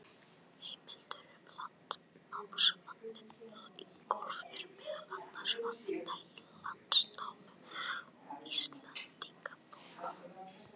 Heimildir um landnámsmanninn Ingólf er meðal annars að finna í Landnámu og Íslendingabók.